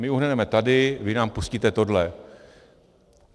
My uhneme tady, vy nám pustíte tohle.